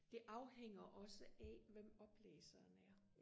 det afhænger også af hvem oplæseren er